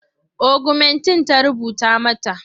Ogumentin ta rubuta mata.